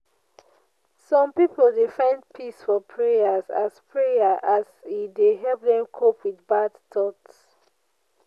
Some pipo dey find peace for prayers as prayer as e dey help dem cope with bad thoughts.